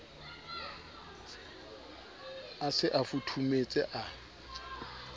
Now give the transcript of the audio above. a se a futhumetse a